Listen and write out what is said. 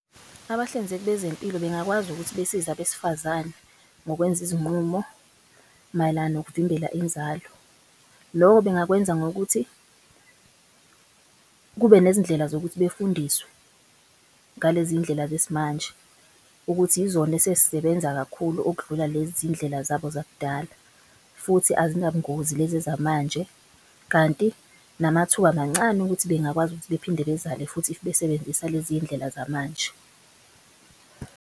Abahlinzeki bezempilo bengakwazi ukuthi besize abesifazane ngokwenza izinqumo mayelana nokuvimbela inzalo. Loko bengakwenza ngokuthi kube nezindlela zokuthi befundiswe ngalezi ndlela zesimanje. Ukuthi izona esezisebenza kakhulu okudlula lezi zindlela zabo zakudala futhi azinabungozi lezi zamanje. Kanti namathuba mancane ukuthi bengakwazi ukuthi bephinde bezale futhi if besebenzisa lezi ndlela zamanje.